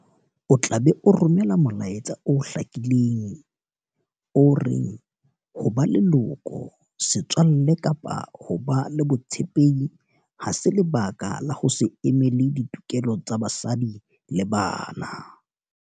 O tla be o romela molaetsa o hlakileng o reng ho ba leloko, setswalle kapa ho ba le botshepehi ha se lebaka la ho se emele ditokelo tsa basadi le bana.